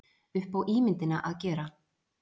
upp á ímyndina að gera.